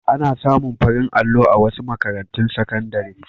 Ana samu farin allo a wasu makarantun sakandare.